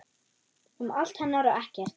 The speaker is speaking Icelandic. Um allt hennar og ekkert.